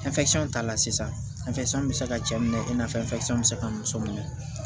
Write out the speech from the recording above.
ta la sisan bɛ se ka cɛ minɛ i n'a fɔ bɛ se ka muso minɛ